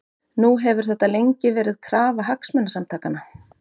Nú hefur þetta lengi verið krafa Hagsmunasamtakanna?